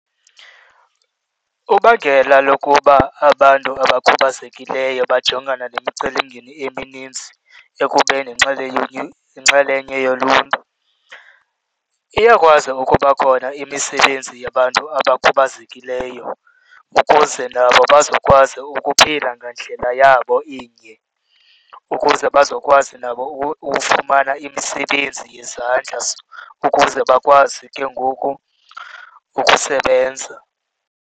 Ubangela lokuba abantu abakhubazekileyo bajongana nemicelimngeni eminintsi ekubeni yinxalenye yoluntu. Iyakwazi ukuba khona imisebenzi yabantu abakhubazekileyo ukuze nabo bazokwazi ukuphila ngandlela yabo inye, ukuze bazokwazi nabo ukufumana imisebenzi yezandla ukuze bakwazi ke ngoku ukusebenza.